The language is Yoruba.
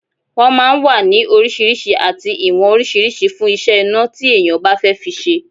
Wọ́n máa ń wà ní oríṣiríṣi àti ìwọ̀n oríṣiríṣi fún iṣẹ́ iná tí èèyàn bá fẹ́ fi ṣe